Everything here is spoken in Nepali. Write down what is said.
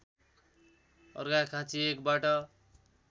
अर्घाखाँची १ बाट